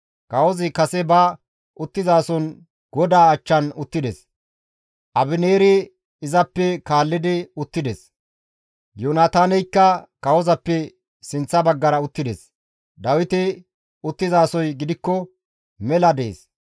Kawozi kase ba uttizason godaa achchan uttides; Abineeri izappe kaallidi uttides; Yoonataaneykka kawozappe sinththa baggara uttides; Dawiti uttizasoy gidikko mela dees.